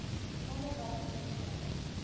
onderwysdienste